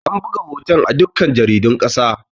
An buga hoton a dukkan jaridun ƙasa